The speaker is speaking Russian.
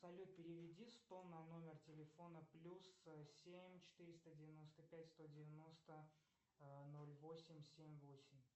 салют переведи сто на номер телефона плюс семь четыреста девяносто пять сто девяносто ноль восемь семь восемь